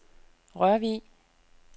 Rørvig